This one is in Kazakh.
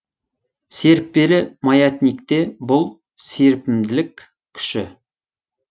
серіппелі маятникте бұл серпімділік күші